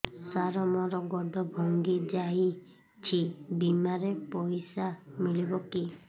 ସାର ମର ଗୋଡ ଭଙ୍ଗି ଯାଇ ଛି ବିମାରେ ପଇସା ମିଳିବ କି